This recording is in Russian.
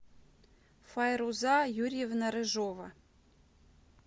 файруза юрьевна рыжова